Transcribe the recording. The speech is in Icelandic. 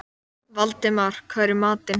Valdemar, hvað er í matinn?